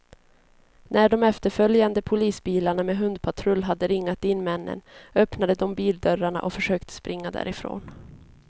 När de efterföljande polisbilarna med hundpatrull hade ringat in männen, öppnade de bildörrarna och försökte springa därifrån.